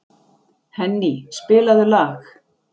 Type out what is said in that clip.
Henný, spilaðu lag.